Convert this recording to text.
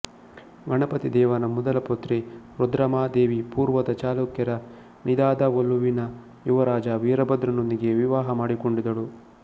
ಗಣಪತಿದೇವನ ಮೊದಲ ಪುತ್ರಿ ರುದ್ರಾಮಾದೇವಿಪೂರ್ವದ ಚಾಲುಕ್ಯ ರ ನಿದಾದವೊಲುವಿನ ಯುವರಾಜ ವೀರಭದ್ರನೊಂದಿಗೆ ವಿವಾಹ ಮಾಡಿಕೊಂಡಿದ್ದಳು